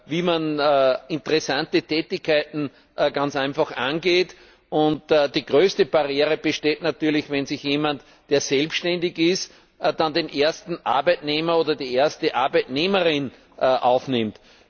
wie man interessante Tätigkeiten ganz einfach angeht. Die größte Barriere besteht natürlich schon, wenn jemand, der selbständig ist, dann den ersten Arbeitnehmer oder die erste Arbeitnehmerin aufnimmt.